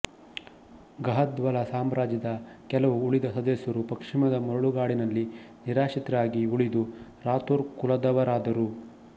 ಗಹದ್ವಲ ಸಾಮ್ರಾಜ್ಯದ ಕೆಲವು ಉಳಿದ ಸದಸ್ಯರು ಪಶ್ಚಿಮದ ಮರಳುಗಾಡಿನಲ್ಲಿ ನಿರಾಶ್ರಿತರಾಗಿ ಉಳಿದು ರಾಥೋರ್ ಕುಲದವರಾದರು